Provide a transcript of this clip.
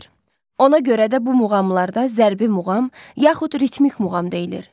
Ona görə də bu muğamlarda zərbi muğam, yaxud ritmik muğam deyilir.